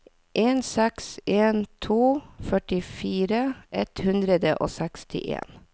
en seks en to førtifire ett hundre og sekstien